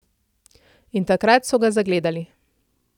In takrat so ga zagledali.